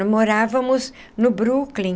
Morávamos no Brooklin.